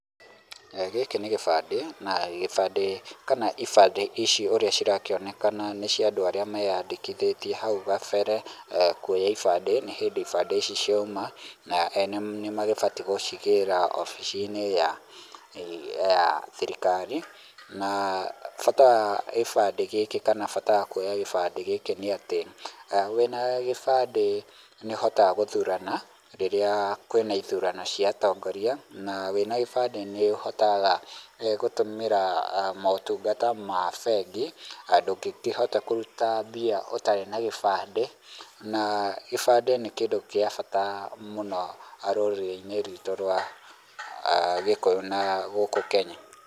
Eeh gĩkĩ nĩ kĩbandĩ na gĩbandĩ kana ibandĩ ici ũrĩa cirakĩonekana nĩ cia andũ arĩa meyandĩkithĩtie hau gabere, kwoya ibandĩ nĩ hĩndĩ ibandĩ ici ciauma na ene nĩ magĩbatie gũcigĩra wabici-inĩ ya ya thirikari na bata wa gĩbandĩ gĩkĩ kana bata wa kwoya gĩbandĩ nĩ atĩ wĩna gĩnandĩ nĩ ũhothaga gũthurana rĩrĩa kwĩna ithurano cia atongoria na wĩna gĩbandĩ nĩ ũhotaga eeh gũtũmĩra motungata ma bengi na ndũngĩkĩhota kũruta mbia ũtarĩ na gĩbandĩ na gĩbandĩ nĩ kĩndũ kĩa bata mũno rũrĩrĩ-inĩ ruitũ rwa Gĩkũyũ na gũkũ Kenya.